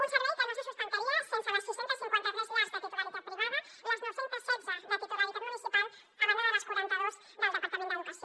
un servei que no se sustentaria sense les sis cents i cinquanta tres llars de titularitat privada les nou cents i setze de titularitat municipal a banda de les quaranta dos del departament d’educació